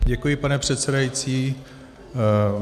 Děkuji, pane předsedající.